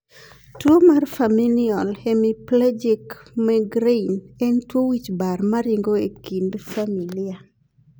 tuo mar Familial hemiplegic migraine en tuo wich bar maringo e kind familia